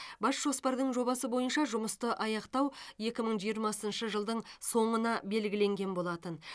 бас жоспардың жобасы бойынша жұмысты аяқтау екі мың жиырмасыншы жылдың соңына белгіленген болатын